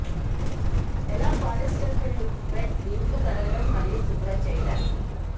ఎలా polyester filled bed దిండ్లు కడగడం మరియు శుభ్రం చేయడానికి